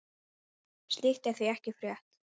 Slíkt er því ekki frétt.